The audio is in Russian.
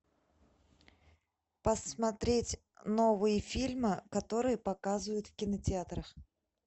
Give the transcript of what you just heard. посмотреть новые фильмы которые показывают в кинотеатрах